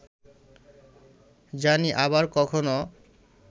জানি আবার কখনো